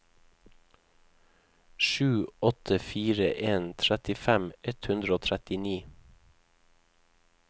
sju åtte fire en trettifem ett hundre og trettini